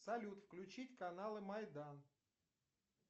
салют включить каналы майдан